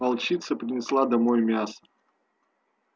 волчица принесла домой мясо